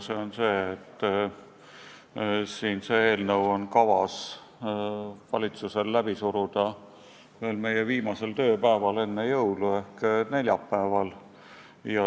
See on see, et eelnõu on valitsusel kavas läbi suruda veel meie viimasel tööpäeval enne jõule ehk neljapäeval.